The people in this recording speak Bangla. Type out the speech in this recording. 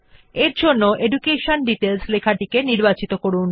তাই এডুকেশন ডিটেইলস লেখাটি নির্বাচন করুন